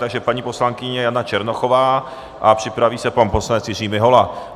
Takže paní poslankyně Jana Černochová a připraví se pan poslanec Jiří Mihola.